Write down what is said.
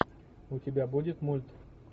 у тебя будет мульт